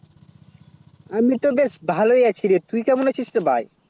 আমি তো বেশ ভালো ই আছি রে তুই কেমন আছিস রে ভাই